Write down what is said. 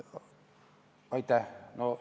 Aitäh!